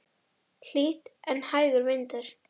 Hlýtt en hægur vindur.